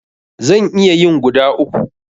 Zan iya yin guda uku.